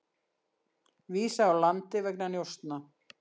Vísað úr landi vegna njósna